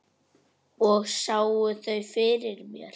Og sá þau fyrir mér.